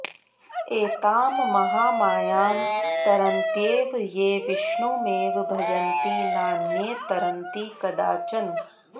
एतां महामायां तरन्त्येव ये विष्णुमेव भजन्ति नान्ये तरन्ति कदाचन